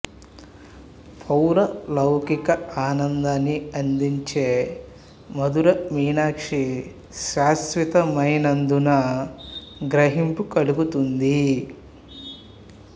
పారలౌకిక ఆనందాన్ని అందించే మధుర మీనాక్షి శాశ్వతమైనదన్న గ్రహింపు కలుగుతుంది